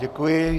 Děkuji.